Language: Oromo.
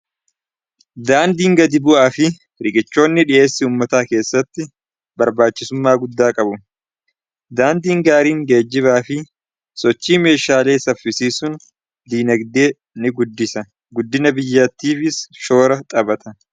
daandiin gadi bu'aa fi rigichoonni dhi'eessii ummataa keessatti barbaachisummaa guddaa qabu. daandiin gaariin geejjibaa fi sochii meeshaalee saffisiisun diinagdee ni guddisa guddina biyyaatifiis shoora xaphata.